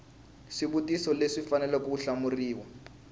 swivutiso leswi faneleke ku hlamuriwa